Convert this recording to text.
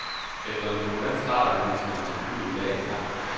Efter en turbulent start er ministerens kugle i dag intakt.